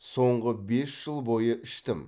соңғы бес жыл бойы іштім